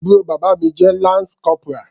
Àbúrò bàbá mi jẹ́ lance corporal.